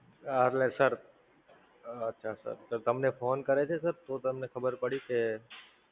Sir, હા Sir તમને phone કરે છે Sir? તો તમને ખબર પડી કે,